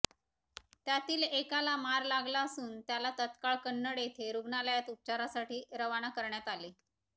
त्यातील एकाला मार लागला असून त्याला तात्काळ कन्नड येथे रुग्णालयात उपचारासाठी रवान करण्यात आले